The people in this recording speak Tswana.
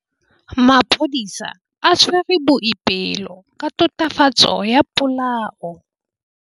Maphodisa a tshwere Boipelo ka tatofatsô ya polaô.